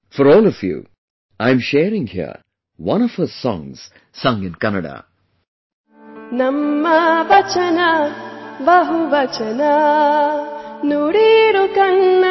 For all of you, I am sharing here one of her songs sung in Kannada